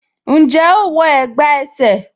Njẹ́ ẹ̀gbá ẹsẹ̀?